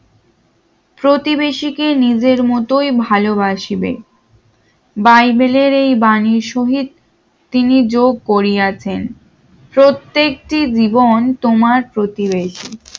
প্রতিবেশীকে নিজের মতই ভালোবাসবে বাইবেলের এই বাণী শহ ীদ তিনি যোগ করিয়াছেন প্রত্যেকটি জীবন তোমার প্রতিবেশী